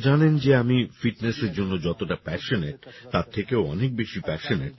আপনারা তো জানেন যে আমি ফিটনেস্এর জন্য যতটা প্যাশনেট তার থেকেও অনেক বেশি প্যাশনেট